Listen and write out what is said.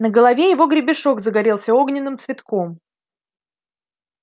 на голове его гребешок загорелся огненным цветком